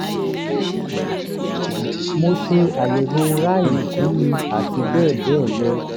mo ṣe àyẹwò rai fún mi àti bẹ́ẹ̀ bẹ́ẹ̀ lọ